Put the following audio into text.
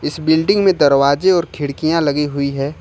इस बिल्डिंग में दरवाजे और खिड़कियां लगी हुई है।